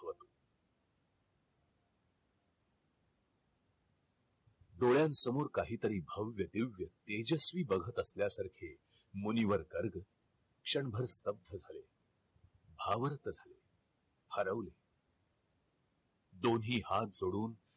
डोळ्यांसमोर काही तरी भव्य दिव्या तेजस्वी बघत असल्यासारखे मुनिवर गर्ग क्षणभर स्थब्ध झाले भावार्थ झाले हरवले दोन्ही हाथ जोडून